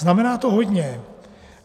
Znamená to hodně.